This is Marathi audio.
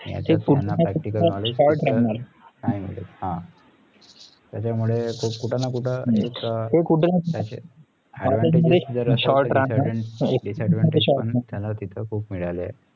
त्याचा मुळे कुठे ना कुठे एक advantage असेल तर disadvantage त्यांना तिथं खूप मिळालं आहे